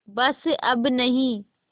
बस अब नहीं